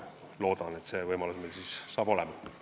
Loodan, et see võimalus meil saab olema.